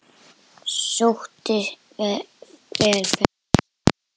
Sóttist henni vel ferðin.